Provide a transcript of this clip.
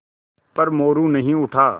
पर मोरू नहीं उठा